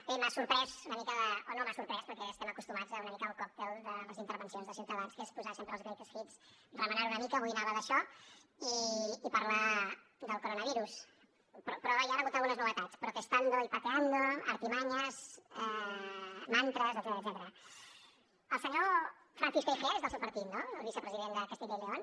bé m’ha sorprès una mica o no m’ha sorprès perquè estem acostumats una mica al còctel de les intervencions de ciutadans que és posar sempre els greatest hits remenant una mica avui anava d’això de parlar del coronavirus però hi han hagut algunes novetats protestando y pateando artimañas mantras el senyor francisco igea és del seu partit no el vicepresident de castilla y león